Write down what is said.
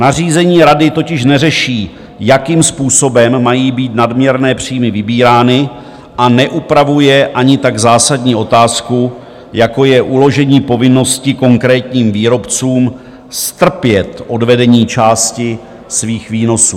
Nařízení Rady totiž neřeší, jakým způsobem mají být nadměrné příjmy vybírány, a neupravuje ani tak zásadní otázku, jako je uložení povinnosti konkrétním výrobcům strpět odvedení části svých výnosů.